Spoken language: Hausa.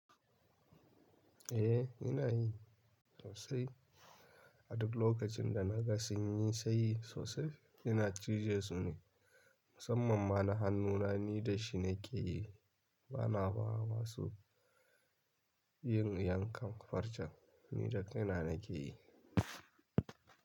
Eh ina yi sosai. A duk lokacin da na ga sun yi sai sosai ina cije su ne. Musamman ma na hannuna ni dashi na ke yi. Bana ba wa wasu. Yin yankan farcen, ni da kaina nake yi.